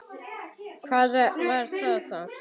Hvað var það þá?